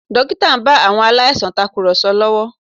Dókítà ń bá àwọn aláìsàn tàkùrọ̀sọ lọ́wọ́